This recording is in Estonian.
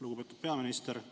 Lugupeetud peaminister!